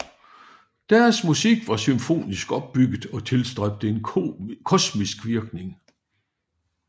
Deres musik var symfonisk opbygget og tilstræbte en kosmisk virkning